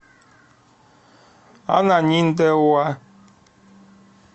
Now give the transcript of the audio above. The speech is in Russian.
ананиндеуа